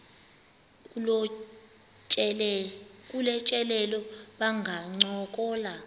kolu tyelelo bangancokola